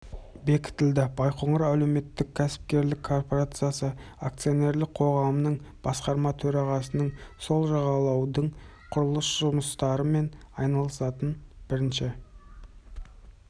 бекітілді байқоңыр әлеуметтік кәсіпкерлік корпорациясы акционерлік қоғамының басқарма төрағасының сол жағалаудың құрылыс жұмыстарымен айналысатын бірінші